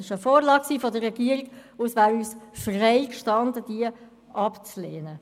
Es war eine Vorlage der Regierung, und es wäre uns freigestanden, diese abzulehnen.